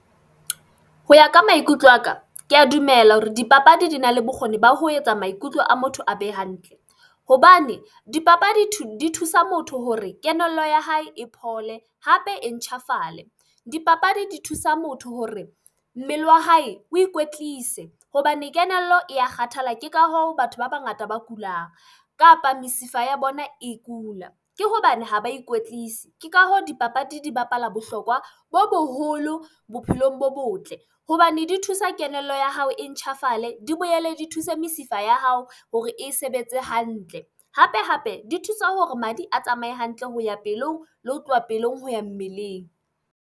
Ho ya ka maikutlo a ka, ke a dumela hore dipapadi di na le bokgoni ba ho etsa maikutlo a motho a be hantle. Hobane dipapadi di thusa motho hore kelello ya hae e phole hape e ntjhafale. Dipapadi di thusa motho hore mmele wa hae o ikwetlise hobane kelello e ya kgathala. Ke ka hoo batho ba bangata ba kulang kapa mesifa ya bona e kula, ke hobane ha ba ikwetlise. Ke ka hoo dipapadi di bapala bohlokwa bo boholo bophelong bo botle hobane di thusa kelello ya hao e ntjhafale, di boele di thuse mesifa ya hao hore e sebetse hantle. Hape-hape di thusa hore madi a tsamaye hantle ho ya pelong le ho tloha pelong ho ya mmeleng.